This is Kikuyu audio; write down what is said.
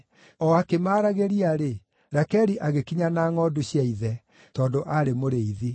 O akĩmaragĩria-rĩ, Rakeli agĩkinya na ngʼondu cia ithe, tondũ aarĩ mũrĩithi.